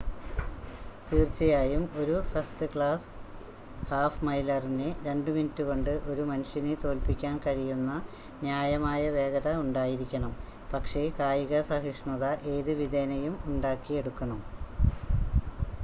തീർച്ചയായും ഒരു ഫസ്റ്റ്-ക്ലാസ് ഹാഫ്-മൈലറിന് രണ്ട് മിനിറ്റുകൊണ്ട് ഒരു മനുഷ്യനെ തോൽപ്പിക്കാൻ കഴിയുന്ന ന്യായമായ വേഗത ഉണ്ടായിരിക്കണം പക്ഷേ കായിക സഹിഷ്ണുത ഏത് വിധേനയും ഉണ്ടാക്കിയെടുക്കണം